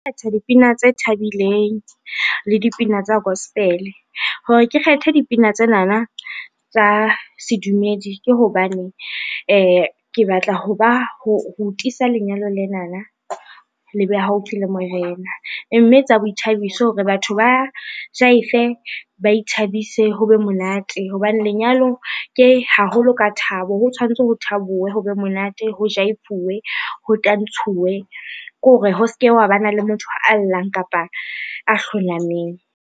Kgetha dipina tse thabileng le dipina tsa gospel, hore ke kgethe dipina tsenana tsa sedumedi ke hobane ke batla ho tiisa lenyalo lena le be haufi le Morena, mme tsa boithabiso hore batho ba jaife, ba ithabise, ho be monate hobane lenyalong ke haholo ka thabo, ho tshwantsho ho thabiwe, ho be monate, ho jaifuwe, ho tantshuwe ke hore ho se ke wa ba na le motho a llang kapa a hlonameng.